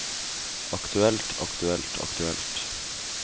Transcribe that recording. aktuelt aktuelt aktuelt